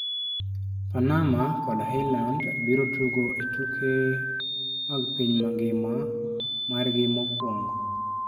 Panama kod Iceland biro tugo e tuke mag piny mangima margi mokwongo.